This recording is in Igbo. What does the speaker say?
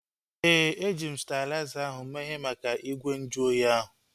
Éè, eji m stalizer ahu mee ihe maka igwe nju oyi ahu